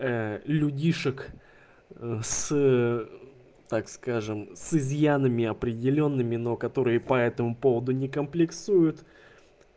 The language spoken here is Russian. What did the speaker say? людишек с так скажем с изъянами определёнными но которые по этому поводу не комплексуют